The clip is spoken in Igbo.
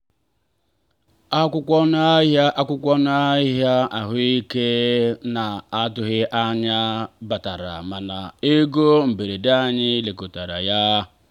akwụkwọ ọnụ ahịa akwụkwọ ọnụ ahịa ahụike na-atụghị anya ya batara mana ego mberede anyị lekọtara ya.